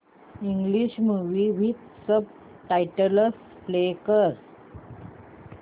English movie with subtitles play कर